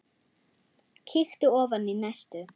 Kíkti ofan í næstu.